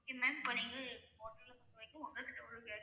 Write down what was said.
Okay ma'am இப்போ நீங்க hotel ல பொறுத்த வரைக்கும் உங்க கிட்ட ஒரு key